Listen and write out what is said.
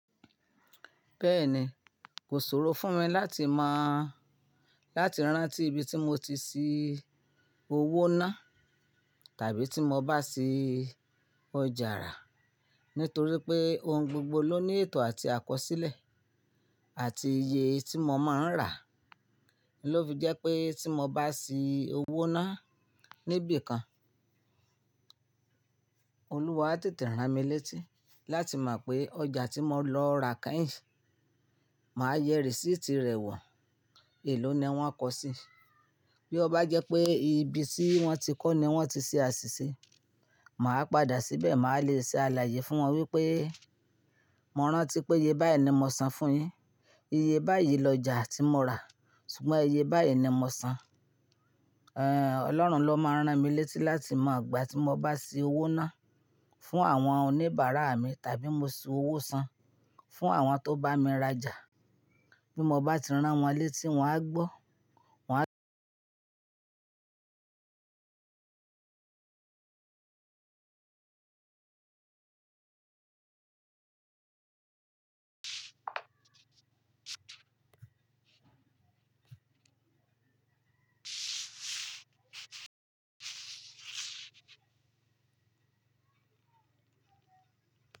Bẹ́ẹ̀ni, kò ṣòro fún mi láti mọ, láti rántí ibi tí mo ti sì owó ná tàbí tí mo bá ṣí ọjà rà, nítorí pé ohun gbogbo ló ní ètò àti àkọsílẹ̀ àti iye tí mo máa ń rà. Lọ fi jẹ́ pé tí mo bá ṣí owó ná níbi kan, Olúwa á tètè rán mi létí láti mọ pé ọjà tí mo lọ rà kẹ́yìn, màá yẹ receipt rẹ̀ wọ̀. È ló ni wọ́n kọ sí. Bí ó bá jẹ́ pé ibi tí wọ́n ti kọ́ ni wọ́n ti ṣe àṣìṣe, màá padà síbẹ̀, màá le ṣe àlàyé fún wọn wípé, "Mọ rántí pé iye báyìí ni mo san fún yín. Iye báyìí lọjà tí mo rà, ṣùgbọ́n iye báyìí ni mo san." Ẹ̀n, Ọlọ́run ló máa ń rán mi létí láti mọ ìgbà tí mo bá sí owó ná fún àwọn oníbàárà mi tàbí mo sí owó san fún àwọn tó bá mi rajà. Bí mo bá ti rán wọn létí, wọn á gbọ́, wọn á.